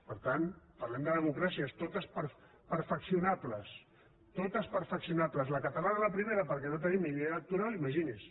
per tant parlem de democràcies totes perfeccionables totes perfeccionables la catalana la primera perquè no tenim ni llei electoral imagini’s